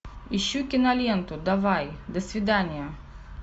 ищу киноленту давай до свидания